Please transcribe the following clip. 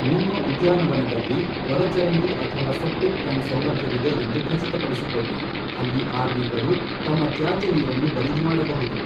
ನಿಮ್ಮ ಉದ್ಯಾನವನದಲ್ಲಿ ಒಳಚರಂಡಿ ಅಥವಾ ಸೆಪ್ಟಿಕ್ ಟ್ಯಾಂಕ್ ಸೌಲಭ್ಯವಿದೆ ಎಂದು ಖಚಿತಪಡಿಸಿಕೊಳ್ಳಿ, ಅಲ್ಲಿ ಆರ್ವಿಗಳು ತಮ್ಮ ತ್ಯಾಜ್ಯ ನೀರನ್ನು ಬರಿದು ಮಾಡಬಹುದು.